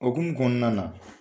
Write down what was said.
O hokumu kɔnɔna na.